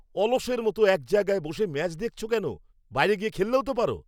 অলসের মতো একজায়গায় বসে ম্যাচ দেখছো কেন তুমি? বাইরে গিয়ে খেললেও তো পারো?